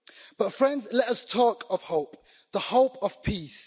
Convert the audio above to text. But, friends, let us talk of hope. The hope of peace.